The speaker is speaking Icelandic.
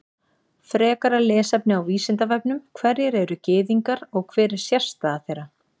Frekara lesefni á Vísindavefnum: Hverjir eru Gyðingar og hver er sérstaða þeirra?